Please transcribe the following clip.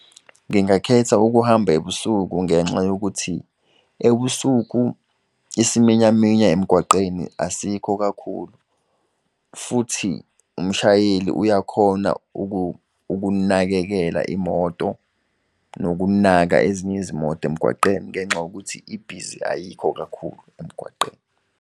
Ngingakhetha ukuhamba ebusuku ngenxa yokuthi ebusuku isiminyaminya emgwaqeni asikho kakhulu. Futhi umshayeli uyakhona ukunakekela imoto nokunaka ezinye izimoto emgwaqeni ngenxa yokuthi ibhizi ayikho kakhulu emgwaqeni.